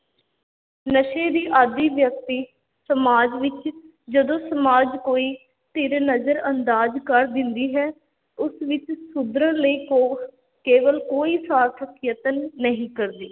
ਨਸ਼ੇ ਦੀ ਆਦੀ ਵਿਅਕਤੀ ਸਮਾਜ ਵਿੱਚ ਜਦੋਂ ਸਮਾਜ ਕੋਈ ਧਿਰ ਨਜ਼ਰ-ਅੰਦਾਜ਼ ਕਰ ਦਿੰਦੀ ਹੈ, ਉਸ ਵਿੱਚ ਸੁਧਰਨ ਲਈ ਕੋ~ ਕੇਵਲ ਕੋਈ ਸਾਰਥਕ ਯਤਨ ਨਹੀਂ ਕਰਦੇ,